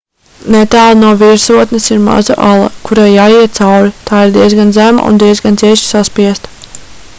netālu no virsotnes ir maza ala kurai jāiet cauri tā ir diezgan zema un diezgan cieši saspiesta